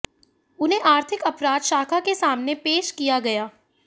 उन्हें आर्थिक अपराध शाखा के सामने पेश किया गया